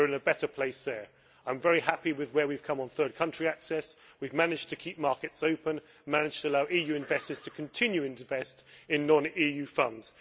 We are in a better place there. I am very happy with where we have come on third country access we have managed to keep markets open and to allow EU investors to continue to invest in non EU funds.